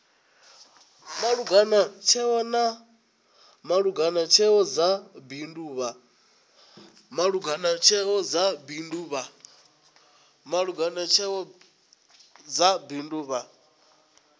langula tsheo dza bindu vha